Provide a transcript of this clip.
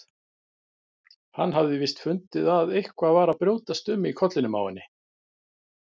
Hann hafði víst fundið að eitthvað var að brjótast um í kollinum á henni.